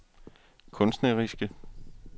kunstneriske